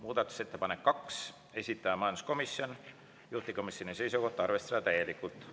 Muudatusettepanek nr 2, esitaja majanduskomisjon, juhtivkomisjoni seisukoht on arvestada seda täielikult.